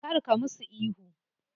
Kar ka musu ihu.